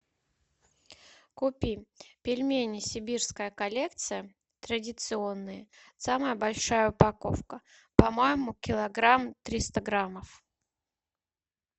купи пельмени сибирская коллекция традиционные самая большая упаковка по моему килограмм триста граммов